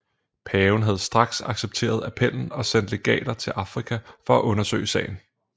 Paven havde straks accepteret appellen og sendt legater til Afrika for at undersøge sagen